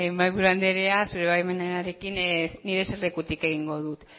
mahaiburu andrea zure baimenarekin nire eserlekutik egingo dut